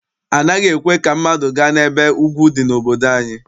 Anaghị ekwe ka mmadụ gaa n'ebe ugwu dị n'obodo anyị.